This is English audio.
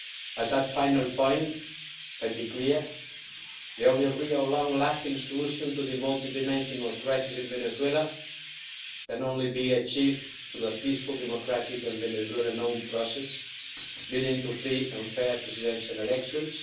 On that final point, I'll be clear the only real long-lasting solution to the multi dimensional crisis in Venezuela can be achieved through a peaceful, democratic and Venezuelan grown process, leading to free and fair presidential elections.